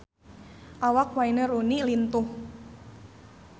Awak Wayne Rooney lintuh